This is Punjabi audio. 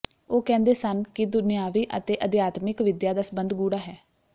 ਉਹ ਕਹਿੰਦੇ ਸਨ ਕਿ ਦੁਨਿਆਵੀ ਅਤੇ ਅਧਿਆਤਮਿਕ ਵਿਦਿਆ ਦਾ ਸੰਬੰਧ ਗੂੜ੍ਹਾ ਹੈ